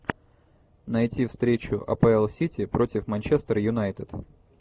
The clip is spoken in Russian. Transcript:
найти встречу апл сити против манчестер юнайтед